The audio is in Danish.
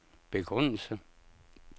begrundelse